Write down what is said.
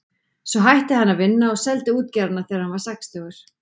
Svo hætti hann að vinna og seldi útgerðina þegar hann varð sextugur.